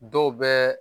Dɔw bɛ